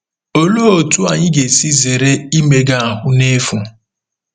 Olee otú anyị ga-esi zere imega ahụ́ n’efu?